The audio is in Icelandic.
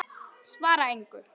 Svara engu.